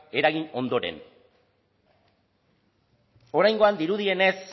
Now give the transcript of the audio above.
eragin ondoren oraingoan dirudienez